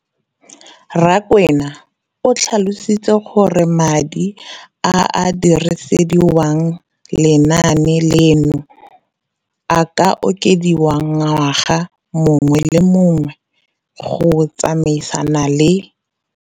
Rakwena o tlhalositse gore madi a a dirisediwang lenaane leno a okediwa ngwaga yo mongwe le yo mongwe go tsamaelana le